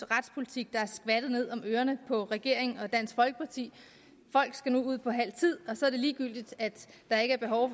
retspolitik der er skvattet ned om ørerne på regeringen og dansk folkeparti folk skal nu ud på halv tid og så er det ligegyldigt at